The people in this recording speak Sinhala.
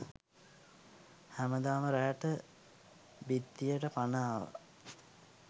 හැමදාම රෑට බිත්තියට පණ ආවා.